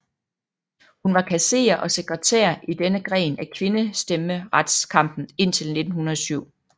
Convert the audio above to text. Hun var kasserer og sekretær i denne gren af kvindestemmeretskampen indtil 1907